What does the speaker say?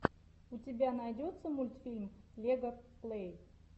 у тебя найдется мультфильм лега плэй